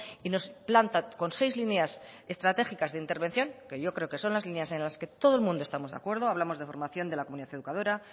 y nos planta con seis líneas estratégicas de intervención que yo creo que son las líneas en la que todo el mundo estamos de acuerdo hablamos de formación de la comunidad educadora